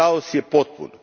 Kaos je potpun.